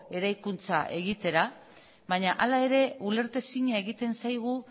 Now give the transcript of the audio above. eraikuntza egitera baina hala ere ulertezina egiten zaigu